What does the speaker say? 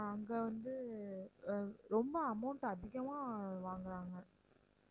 அங்க வந்து ஆஹ் ரொம்ப amount அதிகமாக வாங்கறாங்க